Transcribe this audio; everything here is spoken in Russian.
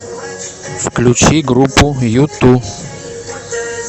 включи группу юту